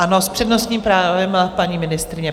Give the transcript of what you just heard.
Ano, s přednostním právem paní ministryně.